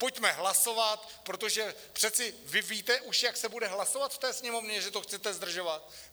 Pojďme hlasovat, protože přece vy víte už, jak se bude hlasovat v té Sněmovně, že to chcete zdržovat?